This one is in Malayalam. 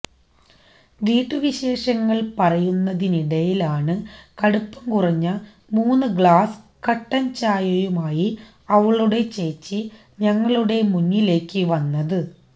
വീട്ടുവിശേഷങ്ങൾ പറയുന്നതിനിടയിലാണ് കടുപ്പം കുറഞ്ഞ മൂന്ന് ഗ്ലാസ് കട്ടൻ ചായയുമായി അവളുടെ ചേച്ചി ഞങ്ങളുടെ മുന്നിലേക്ക് വന്നത്